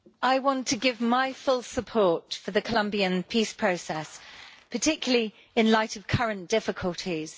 Mr President, I want to give my full support for the Colombian peace process, particularly in light of current difficulties.